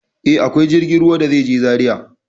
E, akwai jirgin ruwa da zai je Zaria.